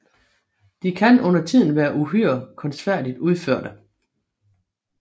De kan undertiden være uhyre kunstfærdigt udførte